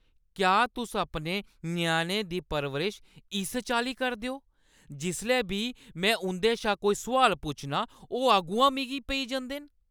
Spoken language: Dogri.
क्या तुस अपने ञ्याणें दी परवरश इस चाल्ली करदे ओ? जिसलै बी में उंʼदे शा कोई सुआल पुच्छनां, ओह् अग्गुआं मिगी पेई जंदे न।